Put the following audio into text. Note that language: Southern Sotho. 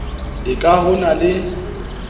e ka ho na le